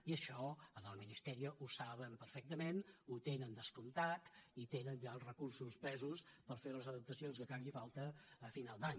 i això al ministerio ho saben perfectament ho tenen descomptat i tenen ja els recursos presos per fer les adaptacions que faci falta a final d’any